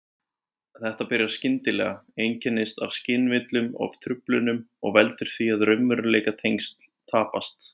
Þetta byrjar skyndilega, einkennist af skynvillum og-truflunum og veldur því að raunveruleikatengsl tapast.